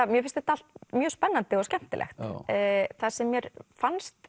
mér finnst þetta allt mjög spennandi og skemmtilegt það sem mér fannst